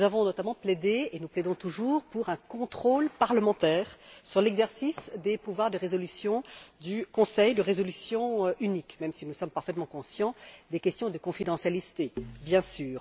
Nous avons notamment plaidé, et nous plaidons toujours, pour un contrôle parlementaire de l'exercice des pouvoirs de résolution, du conseil de résolution unique, même si nous sommes parfaitement conscients des questions de confidentialité, bien sûr.